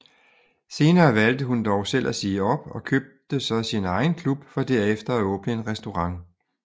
Senere valgte hun dog selv at sige op og købte så sin egen klub for derefter at åbne en restaurant